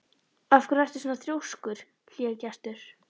Af hverju ertu svona þrjóskur, Hlégestur?